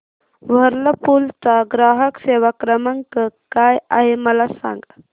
Whirlpool चा ग्राहक सेवा क्रमांक काय आहे मला सांग